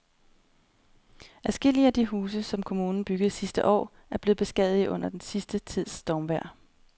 Adskillige af de huse, som kommunen byggede sidste år, er blevet beskadiget under den sidste tids stormvejr.